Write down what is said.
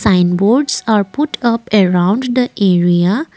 sign boards are put up around the area.